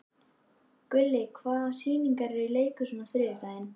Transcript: Gulli, hvaða sýningar eru í leikhúsinu á þriðjudaginn?